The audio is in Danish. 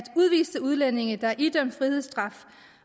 udviste udlændinge der er idømt frihedsstraf